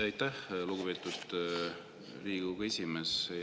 Aitäh, lugupeetud Riigikogu esimees!